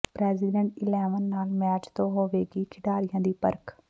president eleven ਨਾਲ match ਤੋਂ ਹੋਵੇਗੀ ਖਿਡਾਰੀਆਂ ਦੀ ਪਰਖ਼